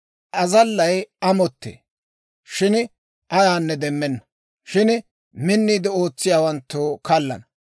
Azallay amottee; shin ayaanne demmenna; shin minniide ootsiyaawanttu kallana.